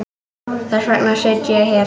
Þess vegna sit ég hér.